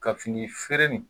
Ka fini feere in